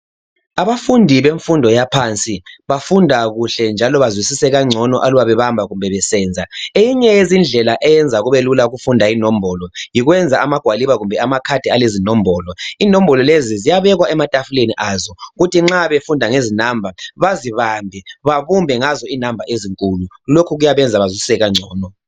Abafundi bemfundo yaphansi bafunda kuhle njalo bazwisise kangcono aluba bebamba besenza eyinye yezindlela eyenza kube lula ukufunda inombolo yikwenza magwaliba kumbe amakhadi alezinombolo. Inombolo lezi ziyabekwa ematafuleni azo ukuthi nxa befunda ngezinamba bazibambe babumbe ngazo inamba ezinkulu lokhu kuyabenzxa bazwisise kangcono.